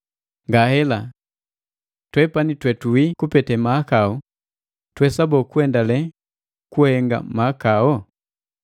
Ngahela! Twepani twe tuwii kupete mahakau tuwesa boo kuendalee kuhenga mahakao?